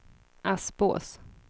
Aspås